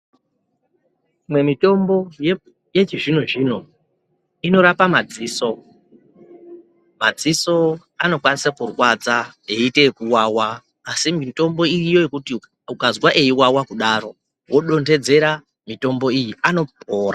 Imwe mitimbo yechizvino zvino inorape madziso madziso anokwanisa kurwadze eite kuwawa asi mitombo iriyo yekuti ukazwa eiwawa kudaro wodondedzera mitombo iyi anopora.